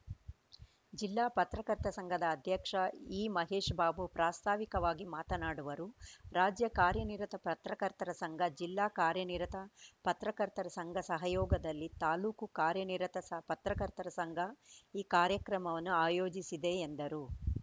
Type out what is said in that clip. ಜಿಲ್ಲಾ ಪತ್ರಕರ್ತ ಸಂಘದ ಅಧ್ಯಕ್ಷ ಈ ಮಹೇಶ್‌ಬಾಬು ಪ್ರಾಸ್ತಾವಿಕವಾಗಿ ಮಾತನಾಡುವರು ರಾಜ್ಯ ಕಾರ್ಯನಿರತ ಪತ್ರಕರ್ತರ ಸಂಘ ಜಿಲ್ಲಾ ಕಾರ್ಯನಿರತ ಪತ್ರಕರ್ತರ ಸಂಘ ಸಹಯೋಗದಲ್ಲಿ ತಾಲೂಕು ಕಾರ್ಯನಿರತ ಸ ಪತ್ರಕರ್ತರ ಸಂಘ ಈ ಕಾರ್ಯಕ್ರಮವನ್ನು ಆಯೋಜಿಸಿದೆ ಎಂದರು